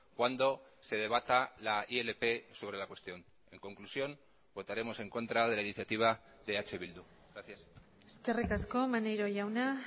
cuando se debata la ilp sobre la cuestión en conclusión votaremos en contra de la iniciativa de eh bildu gracias eskerrik asko maneiro jauna